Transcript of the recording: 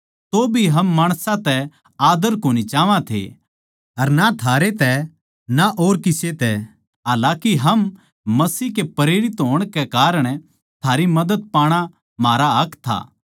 तौभी हम माणसां तै आद्दर कोनी चाहवां थे अर ना थारै तै ना और किसे तै हालाकि हम मसीह के प्रेरित होण कै कारण थारी मदद पाणा म्हारा हक था